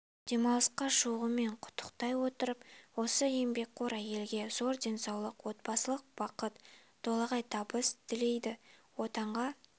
демалысқа шығуымен құттықтай отырып осы еңбекқор әйелге зор денсаулық отбасылық бақыт толағай табыс тілейді отанға